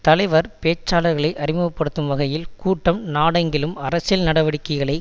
தலைவர் பேச்சாளர்களை அறிமுகப்படுத்துகையில் கூட்டம் நாடெங்கிலும் அரசியல் நடவடிக்கைகளை